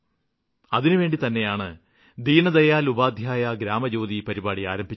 അതിനുവേണ്ടി തന്നെയാണ് ദീനദയാല് ഉപാദ്ധ്യായ ഗ്രാമജ്യോതി പരിപാടി ആരംഭിച്ചത്